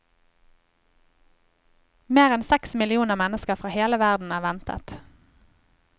Mer enn seks millioner mennesker fra hele verden er ventet.